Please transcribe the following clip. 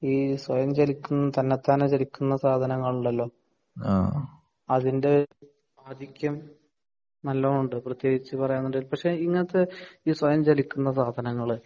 ഈ സ്വയം ചലിക്കുന്ന തന്നെത്താൻ ചലിക്കുന്ന സാധനങ്ങളുണ്ടല്ലോ അതിന്റെ ആധിക്യം നല്ലോണമുണ്ട് പ്രത്യേകിച്ച് പറയാൻ വേണ്ടി പക്ഷെ ഇങ്ങനത്തെ ഈ സ്വയം ചലിക്കുന്ന സാധനങ്ങള്